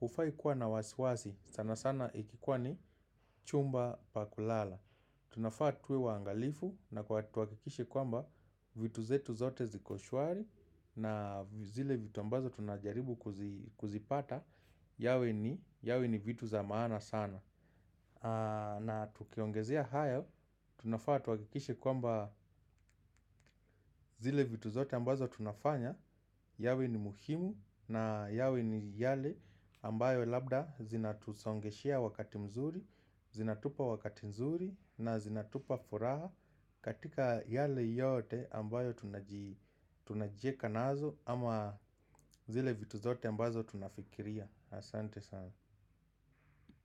hufai kuwa na wasiwasi sana sana ikikuwa ni chumba pa kulala. Tunafaa tuwe waangalifu na tuhakikishe kwamba vitu zetu zote ziko shwari na zile vitu ambazo tunajaribu kuzipata yawe ni vitu za maana sana. Na tukiongezea haya tunafaa tuhakikishe kwamba zile vitu zote ambazo tunafanya yawe ni muhimu na yawe ni yale ambayo labda zinatusongeshea wakati mzuri. Zinatupa wakati nzuri na zinatupa furaha katika yale yote ambayo tunajieka nazo ama zile vitu zote ambazo tunafikiria. Asante sana.